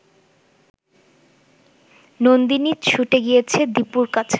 নন্দিনী ছুটে গিয়েছে দীপুর কাছে